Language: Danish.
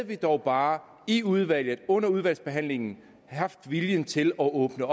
vi dog bare i udvalget under udvalgsbehandlingen havde haft viljen til at åbne